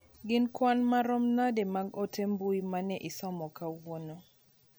Gin kwan maromo nade mag ote mbui mane isomo kawuono